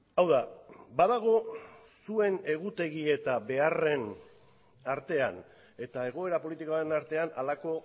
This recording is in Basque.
hau da badago zuen egutegi eta beharren artean eta egoera politikoaren artean halako